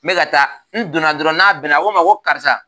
N bɛ ka taa n donna dɔrɔn n'a bɛn a ko n ma ko karisa